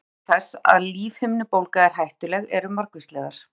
ástæður þess að lífhimnubólga er hættuleg eru margvíslegar